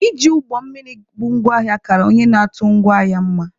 Iji ụgbọ mmiri bu ngwa ahịa kara onye na-atụ ngwa ahịa mma.